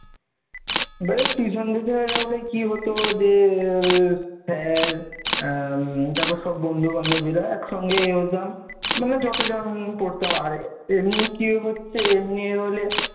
মানে tuition থেকে গেলে কি হত, যে তার পর সব বন্ধু বান্ধবেরা অনেক সঙ্গে যেতাম, মানে যতজন পড়তাম আমাদের এমনি কি হচ্ছে এমনি হলে,